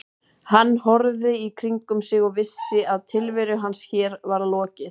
Hann horfði í kringum sig og vissi að tilveru hans hér var lokið.